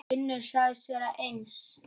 Finnur sagðist vera eins.